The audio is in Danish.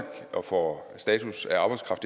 og får status af arbejdskraft